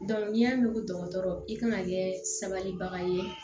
n'i y'a mɛn ko dɔgɔtɔrɔ i kana kɛ sabalibaga ye